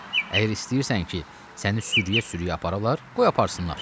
Əgər istəyirsən ki, səni sürüyə-sürüyə aparalar, qoy aparsınlar.